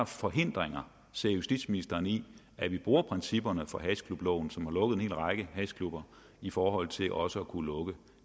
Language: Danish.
forhindringer ser justitsministeren i at vi bruger principperne for hashklubloven som har lukket en hel række hashklubber i forhold til også at kunne lukke